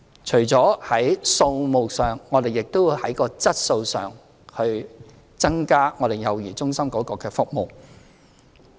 除在數目上外，我們亦會在質素方面提升幼兒中心的服務。